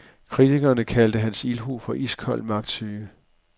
Kritikerne kalder hans ildhu for iskold magtsyge.